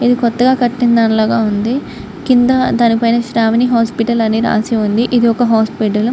కొత్తగా కట్టిన దాని లాగా ఉంది.కింద దాని పైన శ్రావణి హాస్పిటల్ అని రాసిఉంది. ఇది ఒక హాస్పిటల్ .